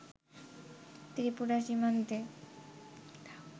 ত্রিপুরা সীমান্তে